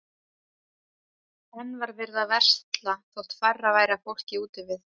Enn var verið að versla þótt færra væri af fólki úti við.